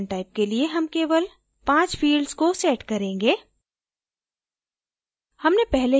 इस content type के लिए हम केवल 5 fields को set करेंगे